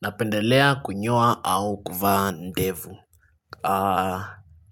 Napendelea kunyoa au kuvaa ndevu.